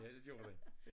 Ja det gjorde den